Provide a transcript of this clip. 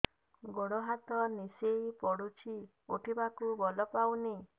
ହାତ ଗୋଡ ନିସେଇ ପଡୁଛି ଉଠିବାକୁ ବଳ ପାଉନି